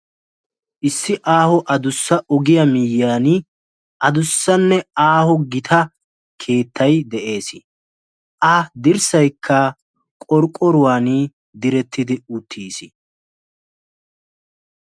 issi aaho adussa ogiya miyyiyan adussanne aaho gita keettay de'es. a dirssayikka qorqqoruwan diretti uttis.